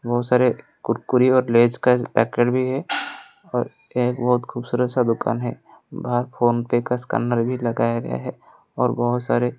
बहोत सारे कुरकुरी और लेज का पैकेट भी है और एक बहोत खूबसूरत सा दुकान है बाहर फोन पे का स्कैनर भी लगाया गया है और बहोत सारे --